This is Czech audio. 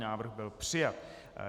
Návrh byl přijat.